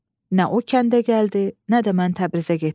Nə o kəndə gəldi, nə də mən Təbrizə getdim.